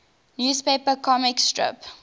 newspaper comic strip